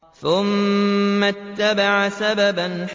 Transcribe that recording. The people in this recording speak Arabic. ثُمَّ أَتْبَعَ سَبَبًا